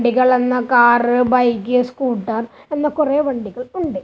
വണ്ടികൾ എന്ന car bike scooter എന്ന കുറെ വണ്ടികൾ ഉണ്ട്.